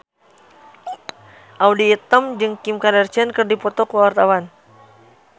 Audy Item jeung Kim Kardashian keur dipoto ku wartawan